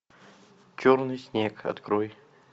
черный снег открой